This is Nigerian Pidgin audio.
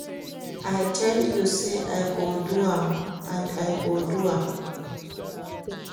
I tell you say I go do am and I go do am